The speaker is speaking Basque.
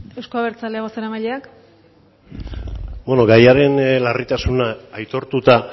eusko abertzale bozeramaileak beno gaiaren larritasunak aitortuta